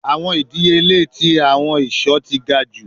Awọn idiyele ti awọn iṣọ ti ga ju